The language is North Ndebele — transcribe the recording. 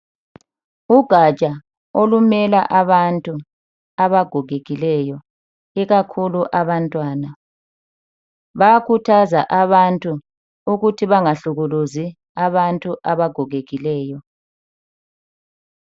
Ugaja olumela abantu abagogekileyo ikakhulu abantwana. Bayakhuthaza abantu ukuthi bangahlukuluzi abantu abagogekileyo.